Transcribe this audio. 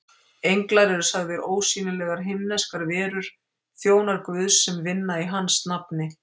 Englar eru sagðir ósýnilegar himneskar verur, þjónar Guðs sem vinna í hans nafni.